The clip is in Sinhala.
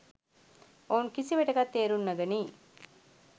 ඔවුන් කිසිවිටෙකත් තේරුම් නොගනී.